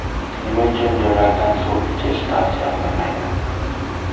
Nima uchun jo‘mrakdan suv ichish tavsiya qilinmaydi?.